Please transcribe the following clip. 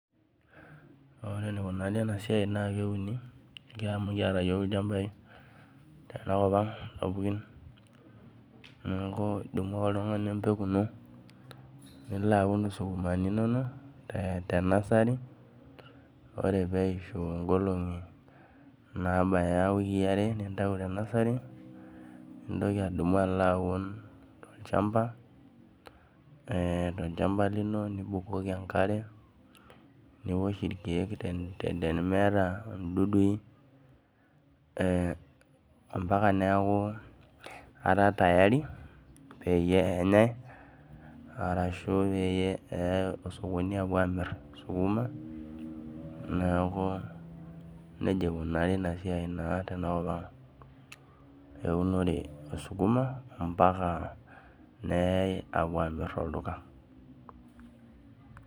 Ore enikunari enasia na keuni amu kiata yiol lchambai tenkop aang sapukin neaku idumu ake oltungani empeku ini nilo aun sukumani inonok ore peishu nkolongi nabaya wiki aare nintau tenasari nintokibadumu alo aun tolchamba lino nibukoki enkare niosh irkiek tenimiata ildudui ambaka neaku kera tayari peyie enyae ashu peyae osokoni neaku nejia ikunari enasia tenkop aang eunoto esukuma ambaka nepuoi amir tolduka.